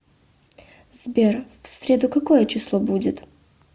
сбер в среду какое число будет